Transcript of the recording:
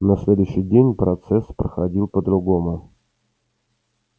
на следующий день процесс проходил по-другому